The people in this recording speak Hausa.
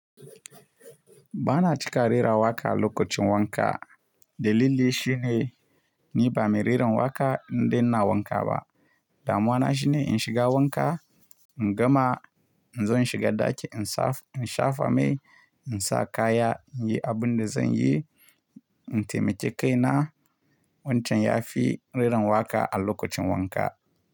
Ba na cika rera waƙa lokacin wanka. Dalili shi ne ni ba mai reran waƙa in dai ina wanka ba. Damuwa na shine in shiga wanka, in gama, in zo in shiga ɗaki in shafa mai, in sa kaya, in yi abin da zan yi, in taimake kaina. Wancan ya fi ririn waƙa a lokacin wanka.